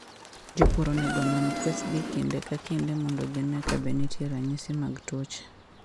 Jopur onego onon kwethgi kinde ka kinde mondo gine kabe nitie ranyisi mag tuoche.